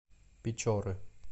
печоры